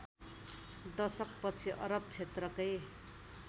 दशकपछि अरब क्षेत्रकै